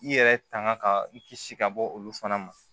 I yɛrɛ tanga ka i kisi ka bɔ olu fana ma